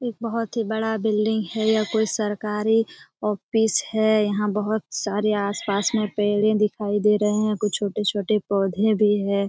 एक बहुत ही बड़ा बिल्डिंग है या कोई सरकारी ऑफिस है यहां बहुत सारे आसपास में पहले दिखाई दे रहे हैं कुछ छोटे-छोटे पौधे भी है।